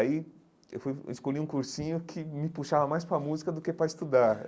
Aí eu fui eu escolhi um cursinho que me puxava mais para a música do que para estudar.